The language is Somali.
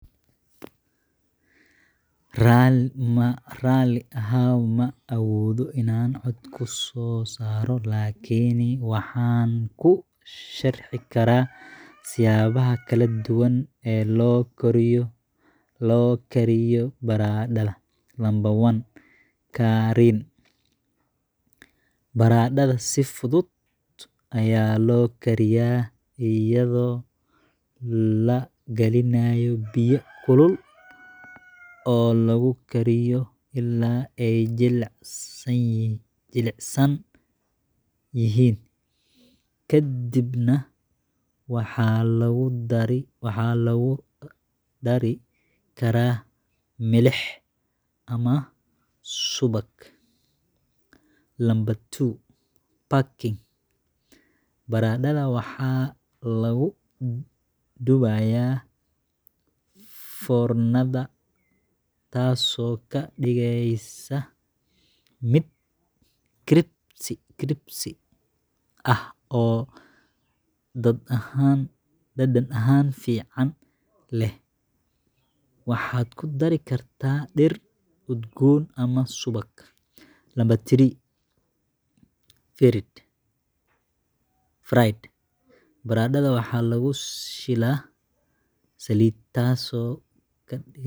Ma raalli ahow, ma awoodo inaan cod ku soo saaro. Laakiin waxaan kuu sharxi karaa siyaabaha kala duwan ee loo kariyo baradhada: 1. Karin Baradhada si fudud ayaa loo kariyaa iyadoo la gelinayo biyo kulul oo lagu kariyo ilaa ay jilicsan yihiin. Kadibna, waxaa lagu dari karaa milix ama subag. 2. Baking Baradhada waxaa lagu dubayaa foornada, taasoo ka dhigaysa mid crispy ah oo dhadhan fiican leh. Waxaad ku dari kartaa dhir udgoon ama subag. 3. *Fried*: Baradhada waxaa lagu shiilaa saliid, taasoo .